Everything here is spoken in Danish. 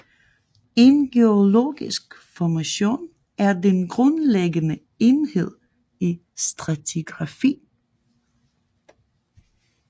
En geologisk formation er den grundlæggende enhed i stratigrafi